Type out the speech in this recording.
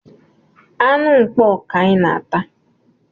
Anụ mkpọ ka anyị na-ata